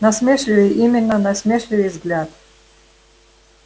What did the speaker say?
насмешливый именно насмешливый взгляд